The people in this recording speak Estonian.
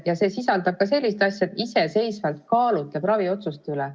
Ja see sisaldab ka sellist lauset, et patsient iseseisvalt kaalutleb raviotsuste üle.